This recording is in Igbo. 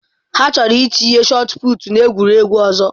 Ha chọrọ itinye shotụputụ n'egwuregwu ọzọ.